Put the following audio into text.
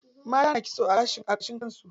Mata na kitso a gashin kan su.